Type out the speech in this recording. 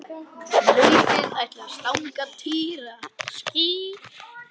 Nautið ætlaði að stanga Týra.